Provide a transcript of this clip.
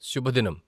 శుభదినం.